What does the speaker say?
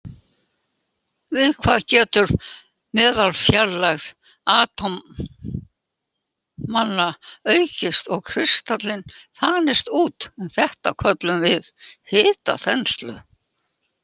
Við það getur meðalfjarlægð atómanna aukist og kristallinn þanist út, en þetta köllum við hitaþenslu.